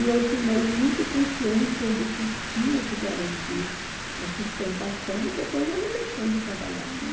E eu tomei muita consciência de que tinha que garantir a sustentação e depois ela deixou de trabalhar, né?